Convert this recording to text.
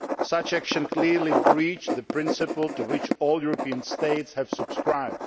Such action clearly breached the principle to which all European states have subscribed.